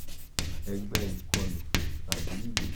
ẹgbẹ ikọlu tabi igbeja?